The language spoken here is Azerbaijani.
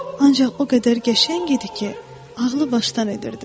Ancaq o qədər qəşəng idi ki, ağlı başdan edirdi.